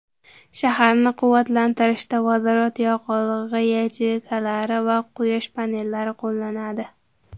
Shaharni quvvatlantirishda vodorod yoqilg‘i yacheykalari va quyosh panellari qo‘llanadi.